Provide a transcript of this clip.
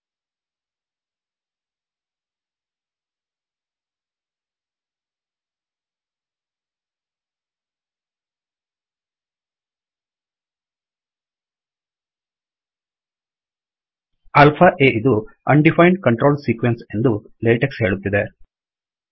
alpha ಆ ಇದು undefined control sequence undefined control sequence ಎಂದು ಲೇಟೆಕ್ಸ್ ಹೇಳುತ್ತಿದೆ